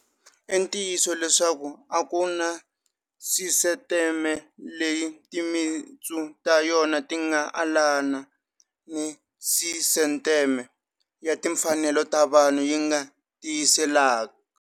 I ntiyiso leswaku a ku na sisiteme leyi timitsu ta yona ti nga alana ni sisiteme ya timfanelo ta vanhu yi nga tiyiselaka.